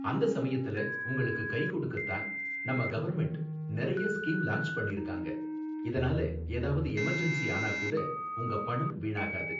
அந்த சமயத்துல உங்களுக்கு கை கொடுக்க தான் நம்ம கவர்ன்மெண்ட் நிறைய ஸ்கீம் லான்ச் பண்ணிருக்காங்க, இதனால ஏதாவது எமர்ஜென்ஸி ஆனா கூட உங்க பணம் வீணாகாது